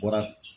Bɔra